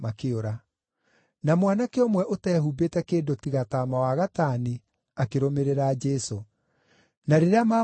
Na mwanake ũmwe ũteehumbĩte kĩndũ tiga taama wa gatani akĩrũmĩrĩra Jesũ. Na rĩrĩa maamũnyiitire,